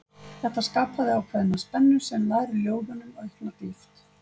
Þetta skapaði ákveðna spennu sem ljær ljóðunum aukna dýpt.